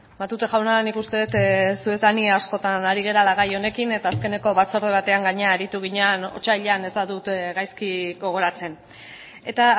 matute jauna nik uste dut zu eta nik askotan ari garela gai honekin eta azkeneko batzorde batean gainera aritu ginen otsailean ez badut gaizki gogoratzen eta